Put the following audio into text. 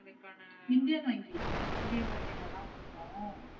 ஆஹ் Indian வங்கி Indian வங்கில தா போட்டோம்.